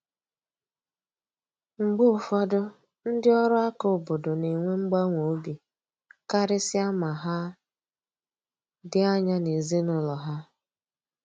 Mgbe ụfọdụ, ndị ọrụ aka obodo na enwe mgbawa obi, karịsịa ma ha dị anya n’ezinụlọ ha.